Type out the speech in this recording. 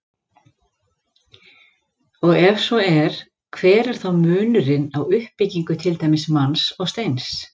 Og ef svo er, hver er þá munurinn á uppbyggingu til dæmis manns og steins?